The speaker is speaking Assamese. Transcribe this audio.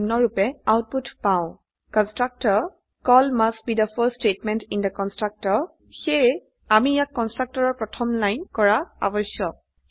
আমি নিম্নৰূপে আউটপুট পাও কনস্ট্ৰাকটৰত প্ৰথম স্টেত মেন্ট কনস্ট্ৰাকটৰ কল হোৱা উচিত সেয়ে আমি ইয়াক কন্সট্ৰকটৰেৰ প্ৰথম লাইন কৰা আবশ্যক